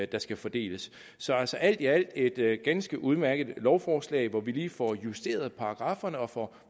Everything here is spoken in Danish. der skal fordeles så altså alt i alt er det et ganske udmærket lovforslag hvor vi lige får justeret paragrafferne og får